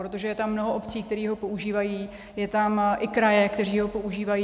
Protože je tam mnoho obcí, které ho používají, jsou tam i kraje, které ho používají.